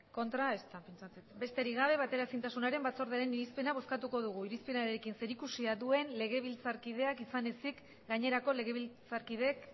kontra ezta besterik gabe bateraezintasunaren batzordearen irizpena bozkatuko dugu irizpenarekin zerikusia duen legebiltzarkideak izan ezik gainerako legebiltzarkideek